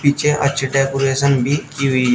पीछे अच्छी डेकोरेशन भी की हुई है।